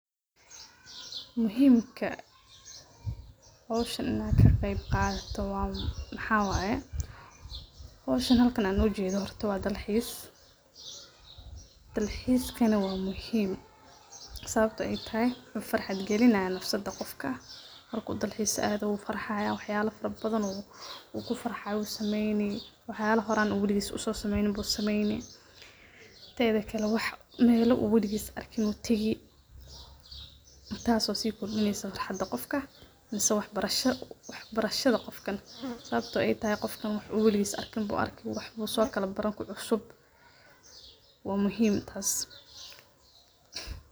Muhimka, howshan inan ka qeb qaato maxa waye, howshan halkan an ujeedo horta waa dalxiis, dalxiiskana waa muhim ,sababto ay tahay wuxuu farxad gelinaya nafsada qofka, marku dalxiis ado wuu farxaya, wax yala fara badan u kufarxayo yu sameeyni waxayala horan uu weligiis horan uso sameeyni ayu sameeyni, tedikale wax mela uu weligiis arkan u tegi taaso si kordineyso farxada qofka mise wax barashada qofkan, sababto ay tahay qofkan wuxuu weligiis arkin ayu soo arki, wax kucusub, waa muhim taas